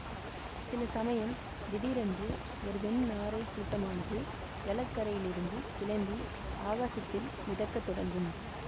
சில சமயம் திடீரென்று ஒரு வெண் நாரைக் கூட்டமானது ஜலக்கரையிலிருந்து கிளம்பி ஆகாசத்தில் மிதக்கத் தொடங்கும்